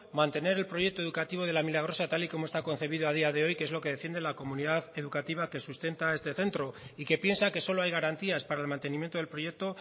mantener el proyecto educativo de la milagrosa tal y como está concebido a día de hoy que es lo que defiende la comunidad educativa que sustenta este centro y que piensa que solo hay garantías para el mantenimiento del proyecto